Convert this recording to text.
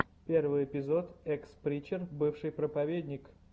первый эпизод экс причер бывший проповедник